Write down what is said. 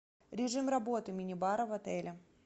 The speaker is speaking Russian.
режим работы мини бара в отеле